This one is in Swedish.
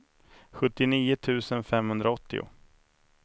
sjuttionio tusen femhundraåttio